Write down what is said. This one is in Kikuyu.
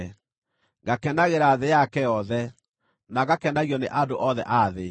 ngakenagĩra thĩ yake yothe, na ngakenagio nĩ andũ othe a thĩ.